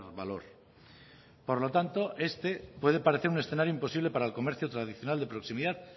valor por lo tanto este puede parecer un escenario imposible para el comercio tradicional de proximidad